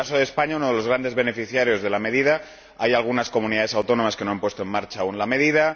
En el caso de España uno de los grandes beneficiarios de la medida, hay algunas comunidades autónomas que no han puesto aún en marcha la medida.